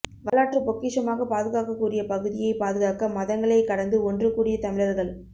வரலாற்று பொக்கிஷமாக பாதுகாக்கக்கூடிய பகுதியை பாதுகாக்க மதங்களை கடந்து ஒன்று கூடிய தமிழர்கள்